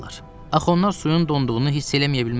Axı onlar suyun donduğunu hiss eləməyə bilməzlər!